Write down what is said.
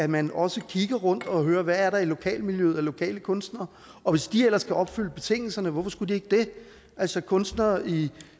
man også rundt og hører hvad der er i lokalmiljøet af lokale kunstnere og hvis de ellers opfylder betingelserne og hvorfor skulle de ikke det altså kunstnere i